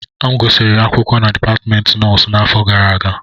M gụsịrị akwụkwọ na Dipatmentị Nọọsụ n'afọ gara aga